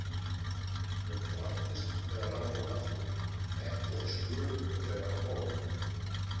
Ég gladdist þegar hann kom aftur, ekki eins gulur og þegar hann fór.